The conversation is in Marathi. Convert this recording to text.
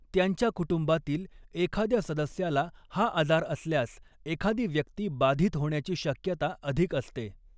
त्यांच्या कुटुंबातील एखाद्या सदस्याला हा आजार असल्यास एखादी व्यक्ती बाधित होण्याची शक्यता अधिक असते.